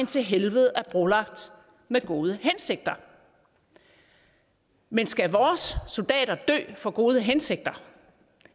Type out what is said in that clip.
til helvede er brolagt med gode hensigter men skal vores soldater dø for gode hensigter